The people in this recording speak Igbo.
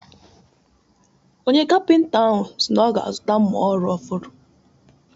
Onye kapịnta ahụ si na ọ ga-azụta mma ọrụ ọhụrụ